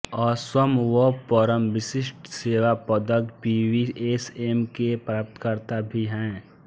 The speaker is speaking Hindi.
असम वह परम विशिष्ट सेवा पदक पीवीएसएम के प्राप्तकर्ता भी हैं